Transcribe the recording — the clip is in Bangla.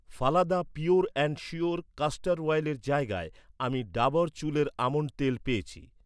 Phalada pure and sure castor অয়েলের জায়গায়, আমি ডাবর চুলের আমন্ড তেল পেয়েছি।